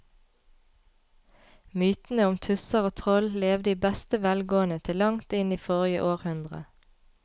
Mytene om tusser og troll levde i beste velgående til langt inn i forrige århundre.